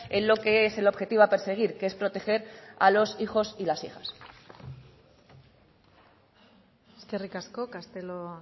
en lo que es el objetivo a perseguir que es proteger a los hijos y a las hijas eskerrik asko castelo